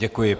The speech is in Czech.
Děkuji.